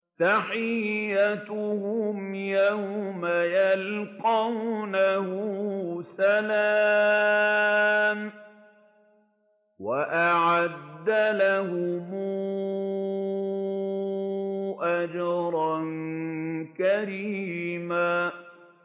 تَحِيَّتُهُمْ يَوْمَ يَلْقَوْنَهُ سَلَامٌ ۚ وَأَعَدَّ لَهُمْ أَجْرًا كَرِيمًا